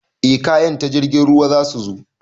Eh kayan ta jirgin ruwa zasu zo